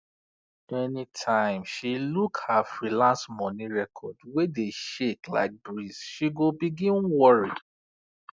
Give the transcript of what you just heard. anytime she look her freelance money record wey dey shake like breeze she go begin worry